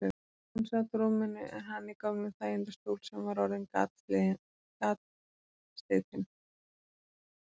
Hún sat á rúminu en hann í gömlum hægindastól sem var orðinn gatslitinn.